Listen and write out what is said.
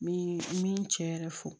N bɛ n mi cɛ yɛrɛ fɔ